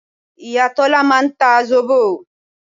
Ìyá Tọ́lá máa ń ta zobo